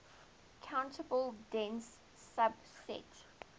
countable dense subset